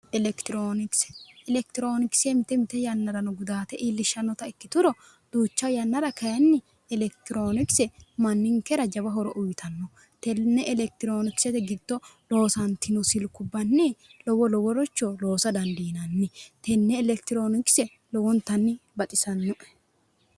Elekitirionikise mite mite yannara gudaate iillishshanotta ikkuturo, kayinni Elekitiruonikise manninkera jawa horo uyittanno, tene elekitirionikisete giddo loosatino silkubbanni lowo loworicho loosa dandiinanni, tene elekitirionikise lowontanni baxisano.